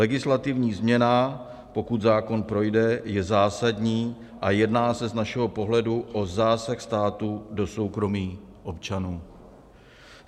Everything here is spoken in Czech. Legislativní změna, pokud zákon projde, je zásadní a jedná se z našeho pohledu o zásah státu do soukromí občanů.